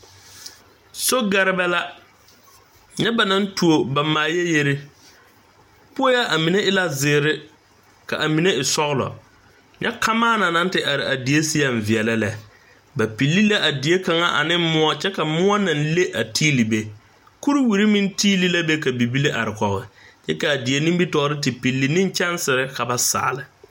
Sogɛrebɛ la nyɛ noba naŋ tuo ba maayɛyere poe a mine eɛ zeere k,a mine e sɔglɔ nyɛ kamaana naŋ te are a die seɛŋ veɛlɛ lɛ ba pilli la a die kaŋa ane moɔ kyɛ ka moɔ naŋ le a tiili be kuriwiri meŋ tiili la be ka bibile are kɔge kyɛ k,a die nimitɔɔre te pilli neŋ kyɛnsere ka ba saale.